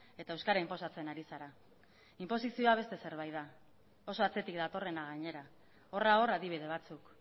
eta euskara inposatzen ari zara inposizioa beste zerbait da oso atzetik datorrena gainera horra hor adibide batzuk